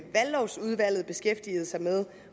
valglovsudvalget beskæftigede sig med